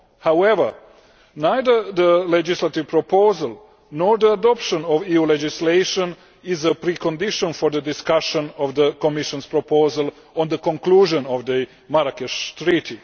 However, neither the legislative proposal nor the adoption of EU legislation is a precondition for the discussion of the Commission's proposal on the conclusion of the Marrakesh Treaty.